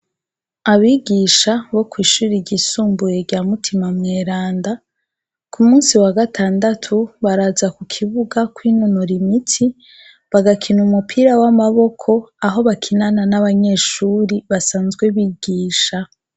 Abigisha bo kw'ishuri ryisumbuye rya Mutima mweranda, ku munsi wa gatandatu baraza ku kibuga kwinonora imitsi, bagakina umupira w'amaboko, aho bakinana n'abanyeshuri basanzwe bigisha.